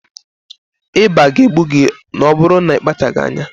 Ịba ga-egbu gị ma ọ bụrụ na ị kpachaghị anya